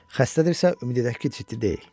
Xəstədirsə, ümid edək ki, ciddi deyil.